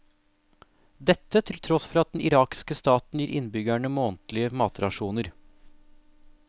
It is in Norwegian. Dette til tross for at den irakske staten gir innbyggerne månedlige matrasjoner.